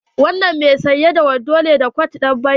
Wanan mai sanye da kwat da wando ne ɗan banki?